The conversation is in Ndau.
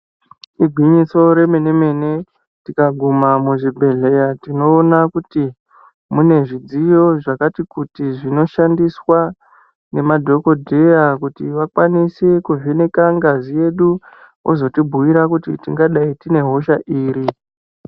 Igwinyiso remene mene tikaguma muzvibhedhleya tinoona kuti mune zvidziyo zvakati kuti zvinoshandiswa nemadhokodheya kuti vakwanise kuvheneka ngazi yedu kuti vozotibhuira kuti tingadai tine hosha iri.